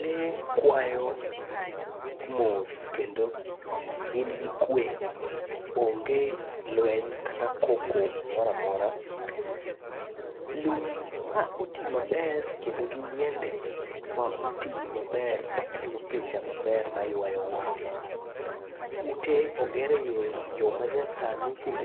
Lee kwayo mos kendo gin gi kwe, onge lweny kata koko moro amora. Lum ma oti maber kendo gi yiende ma oti maber makelo picha maber maywayo wang'. Ute oger e yo manyasani kendo